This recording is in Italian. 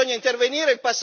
Bisogna intervenire.